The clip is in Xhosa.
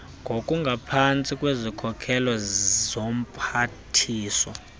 ngokungaphantsi kwezokhokhelo zomphathiswa